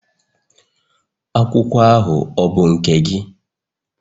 Akwụkwọ ahụ ọ bụ nke gị?